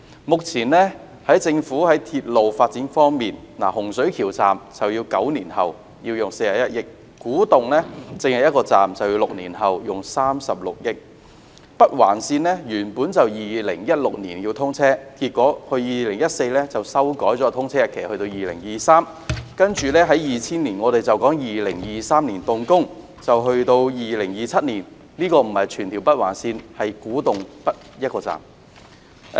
目前，政府在鐵路發展方面，洪水橋站要9年後才竣工，耗用41億元；至於古洞站，只是一個站，但就需時6年及耗用36億元；北環線原本要在2016年通車，結果在2014年修改了通車日期至2023年，其後在2020年又說在2023年動工，到2027年才完工，所指的並不是全條北環線，只是古洞北一個站。